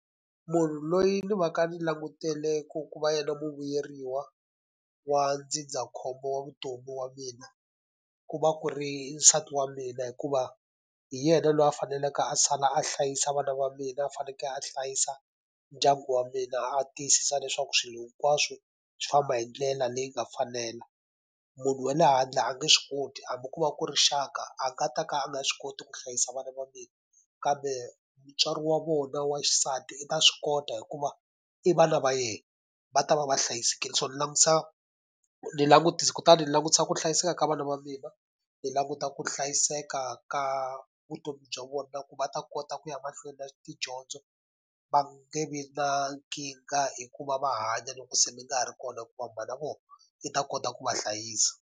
Munhu loyi ni va ka ni langutele ku ku va yena muvuyeriwa wa ndzindzakhombo wa vutomi wa mina, ku va ku ri nsati wa mina hikuva hi yena loyi a faneleke a sala a hlayisa vana va mina, a fanekele a hlayisa ndyangu wa mina, a tiyisisa leswaku swilo hinkwaswo swi famba hi ndlela leyi nga fanela. Munhu wa le handle a nge swi koti, hambi ko va ku rixaka a nga ta ka a nga swi koti ku hlayisa vana va mina. Kambe mutswari wa vona wa xisati i ta swi kota hikuva i vana va yena, va ta va va hlayisekile. So ni langutisa ni kutani langutisa ku hlayiseka ka vana va mina, ni languta ku hlayiseka ka vutomi bya vona na ku va ta kota ku ya mahlweni na tidyondzo. Va nge vi na nkingha hi ku va va hanya loko se ni nga ha ri kona hikuva mhana vona, i ta kota ku va hlayisa.